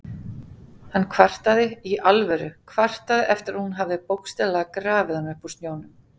Hann kvartaði- í alvöru, kvartaði eftir að hún hafði bókstaflega grafið hann upp úr snjónum!